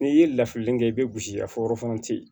N'i ye lafili kɛ i bɛ gosi a fɔ yɔrɔ tɛ yen